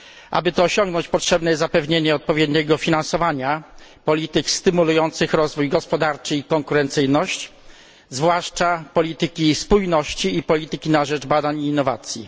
Aby to osiągnąć potrzebne jest odpowiednie finansowanie polityk stymulujących rozwój gospodarczy i konkurencyjność, zwłaszcza polityki spójności i polityki na rzecz badań i innowacji.